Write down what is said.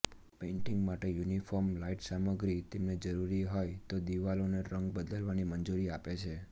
painting માટે uniform light સામગ્રી તમને જરૂરી હોય તો દિવાલોનો રંગ બદલવાની મંજૂરી આપે છે